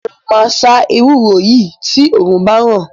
Mo máa sá ewúro yìí tí òrùn báràn.